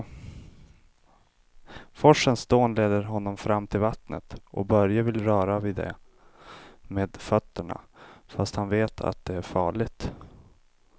Forsens dån leder honom fram till vattnet och Börje vill röra vid det med fötterna, fast han vet att det är farligt.